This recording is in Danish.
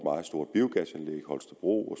meget stort biogasanlæg holstebro og